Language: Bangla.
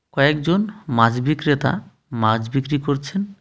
কয়েকজন মাছ বিক্রেতা মাছ বিক্রি করছে.